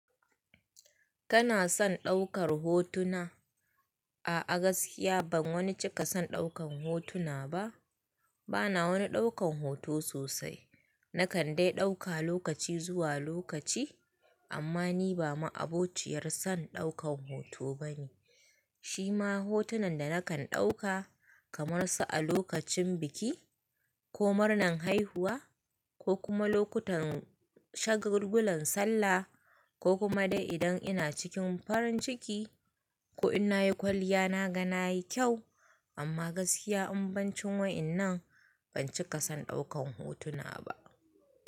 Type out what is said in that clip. Kana son ɗaukar hotuna? A a gaskiya ban wani cika son ɗaukan hotuna ba. Bana wani ɗaukan hoto sosai. Nakan dai ɗauka lokaci zuwa lokaci, amma ni ba ma'abociyar son ɗaukan hoto bane. Shi ma hotunan da nakan ɗauka kamar su a lokacin biki ko murnan haihuwa ko kuma lokutan shagulgulan sallah ko kuma dai idan ina cikin farin ciki ko in na yi kwalliya na ga na yi kyau, amma gaskiya imbancin wa'innan ban cika son ɗaukan hotuna ba.